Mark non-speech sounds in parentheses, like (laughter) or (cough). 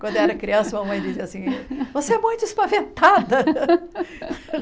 (laughs) Quando eu era criança, minha mãe dizia assim, você é muito espaventada.